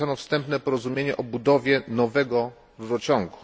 podpisano wstępne porozumienie o budowie nowego rurociągu.